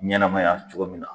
Ɲɛnɛmaya cogo min na